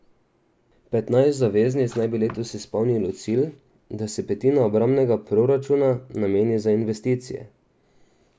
Petnajst zaveznic naj bi letos izpolnilo cilj, da se petina obrambnega proračuna nameni za investicije.